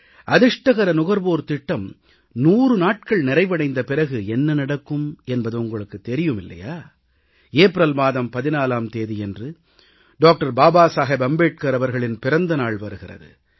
அதிர்ஷ்டக்கார நுகர்வோர் திட்டம் 100 நாட்கள் நிறைவடைந்த பிறகு என்ன நடக்கும் என்பது உங்களுக்கு தெரியும் இல்லையா ஏப்ரல் மாதம் 14ஆம் தேதியன்று அண்ணல் டாக்டர் பாபா சாஹேப் அம்பேத்கர் அவர்களின் பிறந்த நாள் வருகிறது